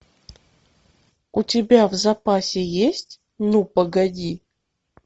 у тебя в запасе есть ну погоди